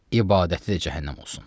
İbadəti də cəhənnəm olsun.